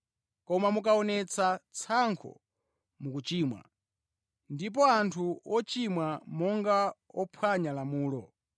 Koma mukamaonetsa tsankho mukuchimwa, ndipo ndinu wochimwa monga wophwanya lamulo.